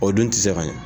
O dun tɛ se ka ɲɛ